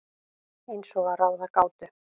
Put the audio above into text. Eins og að ráða gátu.